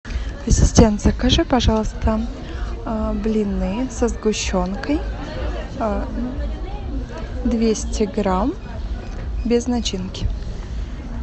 ассистент закажи пожалуйста блины со сгущенкой двести грамм без начинки